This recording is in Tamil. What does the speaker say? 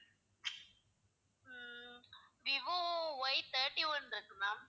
ஹம் விவோ Y thirty-one இருக்கு ma'am